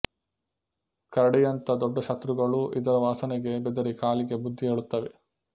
ಕರಡಿಯಂಥ ದೊಡ್ಡ ಶತ್ರುಗಳೂ ಇದರ ವಾಸನೆಗೆ ಬೆದರಿ ಕಾಲಿಗೆ ಬುದ್ಧಿ ಹೇಳುತ್ತವೆ